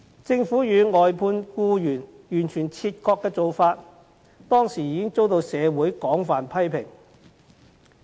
政府與外判僱員完全切割的做法，當時已遭社會廣泛批評。